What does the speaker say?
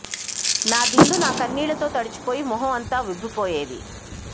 నా దిండు నా కన్నీళ్ళతో తడిచిపోయి మొహం అంతా ఉబ్బి పోయేది